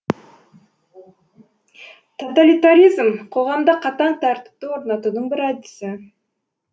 тоталитаризм қоғамда қатаң тәртіпті орнатудың бір әдісі